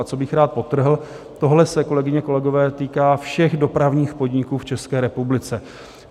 A co bych rád podtrhl, tohle se, kolegyně, kolegové, týká všech dopravních podniků v České republice.